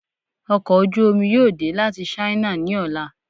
Ọkọ̀ ojú omi yóò dẹ láti sáínà ni ọla